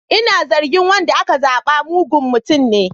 Ina zargin wanda aka zaba mugun mutum ne.